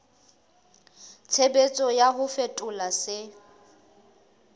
tshebetso ya ho fetola se